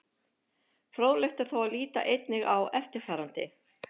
Fróðlegt er þó að líta einnig á eftirfarandi.